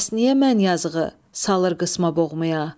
Bəs niyə mən yazıqı salır qısma boğmaya.